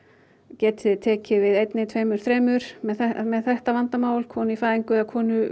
getið þið tekið við einni tveimur þremur með þetta vandamál konu í fæðingu eða konu